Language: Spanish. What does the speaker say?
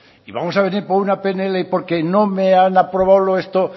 y vamos a venir por una pnl porque no me han aprobado esto